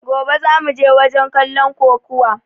Gobe zamuje wajen kallon kokuwa!